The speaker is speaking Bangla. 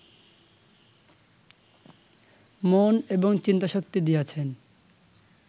মনঃ এবং চিন্তাশক্তি দিয়াছেন